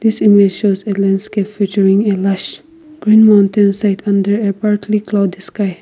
seem shows featuring a lush green mountain site under a partly cloud sky.